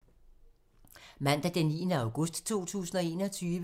Mandag d. 9. august 2021